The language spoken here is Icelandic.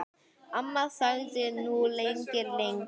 Amma þagði nú lengi, lengi.